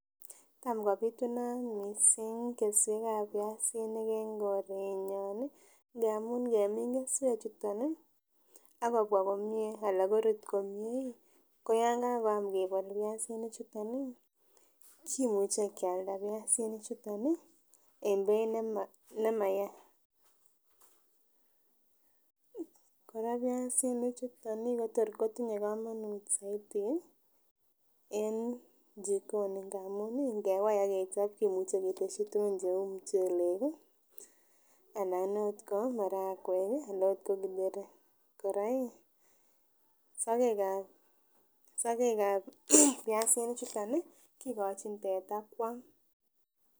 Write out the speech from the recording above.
Tam kopitunat missing kesuekab piasinik en korenyon nii ngamun ngemin kesuek chuton akobwa komie ana korut komie ih ko yon kakoyam kebol piasinik chuton nii kimuche Kialda piasinik chuton en beit nema nemaya. Koraa piasinik chuton otor kotinye komonut soiti en chikoni ngamun nkewai akechob kimuche keteshi tukun cheu muchelek kii aln ot ko marakwek kii alan ot ko kiteri. Koraa iih sokek ab piasinik chuton kikochi teta kwam.